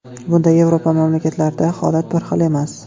Bunda Yevropa mamlakatlarida holat bir xil emas.